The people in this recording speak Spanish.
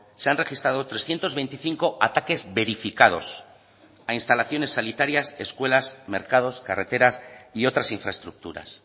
se han registrado trescientos veinticinco ataques verificados a instalaciones sanitarias escuelas mercados carreteras y otras infraestructuras